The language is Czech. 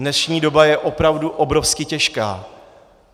Dnešní doba je opravdu obrovsky těžká.